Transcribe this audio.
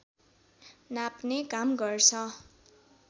नाप्ने काम गर्छ